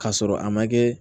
K'a sɔrɔ a ma kɛ